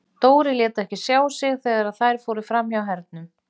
Dóri lét ekki sjá sig þegar þær fóru fram hjá Hernum.